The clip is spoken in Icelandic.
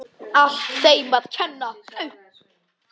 Allt þeim að kenna.!